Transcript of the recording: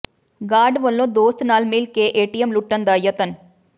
guard ਵੱਲੋਂ ਦੋਸਤ ਨਾਲ ਮਿਲ ਕੇ ਏਟੀਐਮ ਲੁੱਟਣ ਦਾ ਯਤਨ